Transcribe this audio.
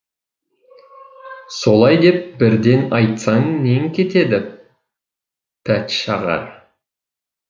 солай деп бірден айтсаң нең кетеді пәтшағар